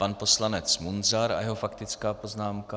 Pan poslanec Munzar a jeho faktická poznámka.